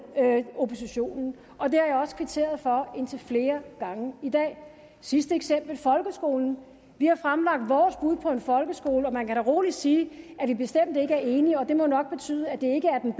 oppositionen og det har jeg også kvitteret for indtil flere gange i dag sidste eksempel er folkeskolen vi har fremlagt vores bud på en folkeskole og man kan da roligt sige at vi bestemt ikke er enige og det må nok betyde at det ikke er den